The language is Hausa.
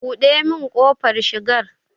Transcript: Buɗe min kofar shigar.